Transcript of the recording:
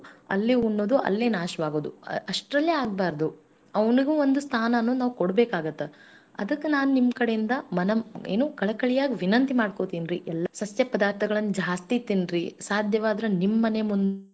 ಮುಂದೆ ಸಣ್ಣ್ ಸಣ್ಣದ್ ಅಹ್ ಏನು ಮಡಿಕೆಗಳು ಅಂತದ್ ಏನಾರ ಇದ್ದರೆ ಮಣ್ಣ್ ಹಾಕ್ ಬಿಟ್ಟು ಅಲ್ಲಿನು ಬೆಳೆಯಿರಿ ಸಸ್ಯ ಏನು ತೊಂದರೆ ಇಲ್ಲ ಅಂದ್ರೆ ನಿಮ್ಗ್ ಹೆಂಗ್ ಆಗತ್ತೆ ದಿನ ನಿತ್ಯಾ ನೀವು ಏನು ಅಹ್ ಏನೂ fresh ಆಗಿ ಇರುದನ್ನು ತಿನ್ನಬಹುದು ಮನೆ ಮುಂದೇನೆ ಇದ್ರೆ ತಾಜಾ ಇರ್ತ್ತೆ.